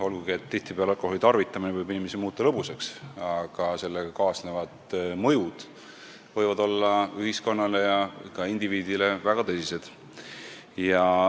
Olgugi et tihtipeale võib alkoholi tarvitamine inimesi lõbusaks muuta, võivad sellega kaasnevad mõjud olla ühiskonnale ja ka indiviidile väga tõsised.